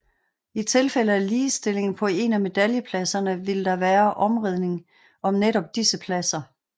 I tilfælde af ligestilling på en af medaljepladserne vil der være omridning om netop disse pladser